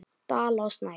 Dala og Snæf.